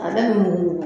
A bɛ mun